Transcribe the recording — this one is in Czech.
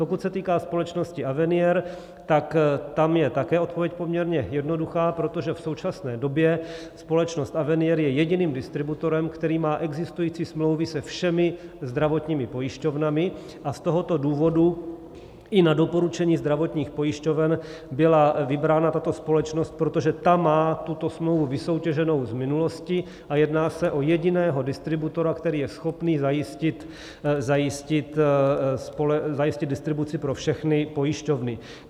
Pokud se týká společnosti Avenier, tak tam je také odpověď poměrně jednoduchá, protože v současné době společnost Avenier je jediným distributorem, který má existující smlouvy se všemi zdravotními pojišťovnami, a z tohoto důvodu i na doporučení zdravotních pojišťoven byla vybrána tato společnost, protože ta má tuto smlouvu vysoutěženou z minulosti a jedná se o jediného distributora, který je schopný zajistit distribuci pro všechny pojišťovny.